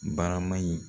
Barama in